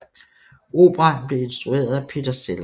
Operaen blev instrueret af Peter Sellars